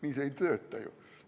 Nii see ei tööta ju!